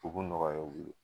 U b'u nɔgɔya u ye